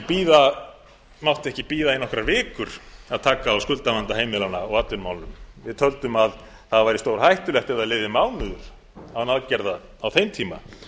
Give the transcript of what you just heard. þá mátti ekki bíða í nokkrar vikur að taka á skuldavanda heimilanna og atvinnumálunum við töldum að það væri stórhættulegt ef það liði mánuður án aðgerða á þeim tíma